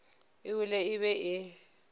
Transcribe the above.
e wele e be e